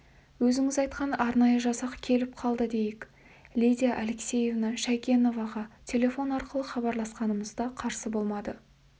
өзіңіз айтқан арнайы жасақ келіп қалды дейік лидия алексеевна шәйкеноваға телефон арқылы хабарласқанымызда қарсы болмады